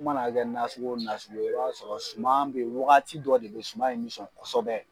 I mana kɛ nasugo o nasugo ye i b'a sɔrɔ suman bɛ wagati dɔ de bɛ suman in bɛ sɔn kosɛbɛ.